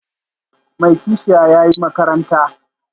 Mai kishiya, ya yi makaranta